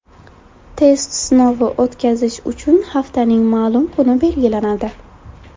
Test sinovi o‘tkazish uchun haftaning ma’lum kuni belgilanadi.